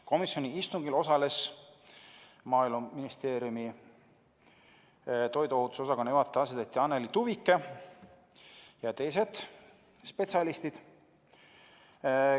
Komisjoni istungil osalesid Maaeluministeeriumi toiduohutuse osakonna juhataja asetäitja Anneli Tuvike ja teised spetsialistid.